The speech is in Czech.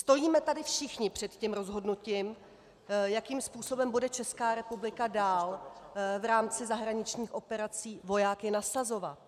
Stojíme tady všichni před tím rozhodnutím, jakým způsobem bude Česká republika dál v rámci zahraničních operací vojáky nasazovat.